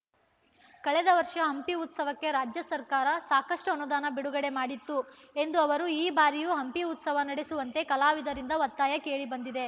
ಕಳೆದ ವರ್ಷ ಹಂಪಿ ಉತ್ಸವಕ್ಕೆ ರಾಜ್ಯ ಸರ್ಕಾರ ಸಾಕಷ್ಟುಅನುದಾನ ಬಿಡುಗಡೆ ಮಾಡಿತ್ತು ಎಂದ ಅವರು ಈ ಬಾರಿಯೂ ಹಂಪಿ ಉತ್ಸವ ನಡೆಸುವಂತೆ ಕಲಾವಿದರಿಂದ ಒತ್ತಾಯ ಕೇಳಿಬಂದಿದೆ